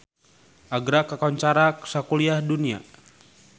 Agra kakoncara sakuliah dunya